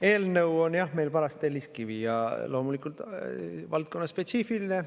Eelnõu on paras telliskivi ja loomulikult valdkonnaspetsiifiline.